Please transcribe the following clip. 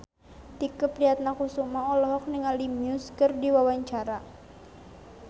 Tike Priatnakusuma olohok ningali Muse keur diwawancara